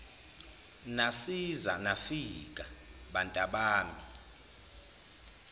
nasiza nafika bantabami